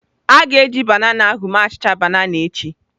A ga-eji banana ahụ mee achịcha banana echi.